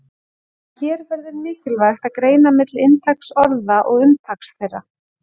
En hér verður mikilvægt að greina milli inntaks orða og umtaks þeirra.